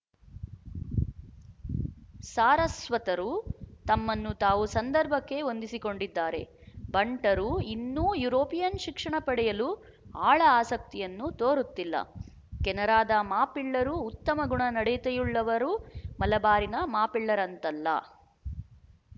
ಸಾರಸ್ವತರು ತಮ್ಮನ್ನು ತಾವು ಸಂದರ್ಭಕ್ಕೆ ಹೊಂದಿಸಿಕೊಂಡಿದ್ದಾರೆ ಬಂಟರು ಇನ್ನೂ ಯೂರೊಪಿಯನ್ ಶಿಕ್ಷಣ ಪಡೆಯಲು ಆಳ ಆಸಕ್ತಿಯನ್ನು ತೋರುತ್ತಿಲ್ಲ ಕೆನರಾದ ಮಾಪಿಳ್ಳರು ಉತ್ತಮ ಗುಣ ನಡತೆಯುಳ್ಳವರು ಮಲಬಾರಿನ ಮಾಪಿಳ್ಳರಂತಲ್ಲ